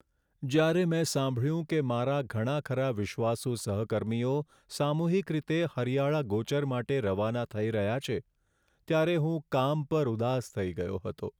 જ્યારે મેં સાંભળ્યું કે મારા ઘણા ખરાં વિશ્વાસુ સહકર્મીઓ સામૂહિક રીતે હરિયાળા ગોચર માટે રવાના થઈ રહ્યા છે, ત્યારે હું કામ પર ઉદાસ થઈ ગયો હતો.